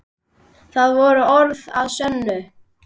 Það voru orð að sönnu.